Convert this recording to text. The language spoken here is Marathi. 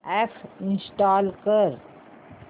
अॅप इंस्टॉल कर